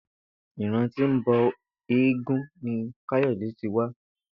Ìran tí ó ń bo̩ eégún ni Káyò̩dé ti wá